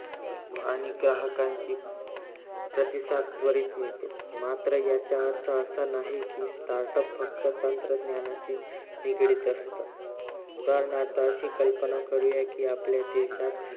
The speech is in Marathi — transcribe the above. आणि ग्राकांचे प्रतिसादाद्वारे मिळतो मात्र याचा अर्थ असा नाही कि उदाहरणार्थ अशी कल्पना करूया कि startup फक्त तंत्रज्ञानाचे निगडित असतं आपल्या देशात